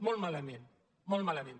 molt malament molt malament